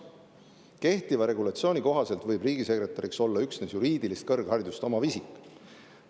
Kehtiva regulatsiooni kohaselt võib riigisekretäriks olla üksnes juriidilist kõrgharidust omav isik.